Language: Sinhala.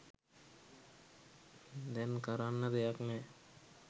දැන් කරන්න දෙයක් නෑ.